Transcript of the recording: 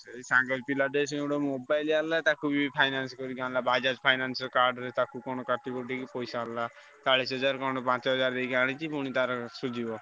ସେଇ ସାଙ୍ଗ ପିଲାଟେ ସିଏ ଗୋଟେ mobile ଆଣିଲା ତାକୁ ବି finance କରିକି ଆଣିଲା Bajaj finance card ରେ ତାକୁ କଣ କାଟି କୁଟିକି ପଇସା ହେଲା। ଚାଳିଶି ହଜାର କଣ ପାଞ୍ଚ ହଜାର ଦେଖି ଆଣିଛି ପୁଣି ତାର ସୁଝିବ।